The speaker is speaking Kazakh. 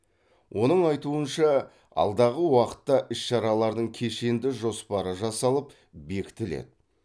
оның айтуынша алдағы уақытта іс шаралардың кешенді жоспары жасалып бекітіледі